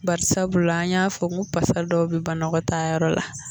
Bari sabula an y'a fɔ ko pasa dɔw bɛ banakɔtaayɔrɔ la